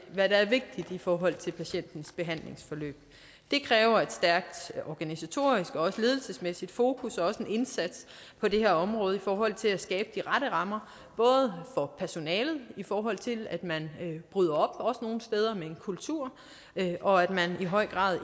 hvad der er vigtigt i forhold til patientens behandlingsforløb det kræver et stærkt organisatorisk og også ledelsesmæssigt fokus og også en indsats på det her område i forhold til at skabe de rette rammer for personalet i forhold til at man bryder op nogle steder med en kultur og at man i høj grad